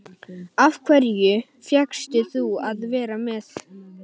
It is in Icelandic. Af hverju fékkst þú að vera með